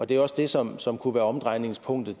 det er også det som som kunne være omdrejningspunktet